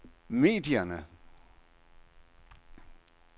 medierne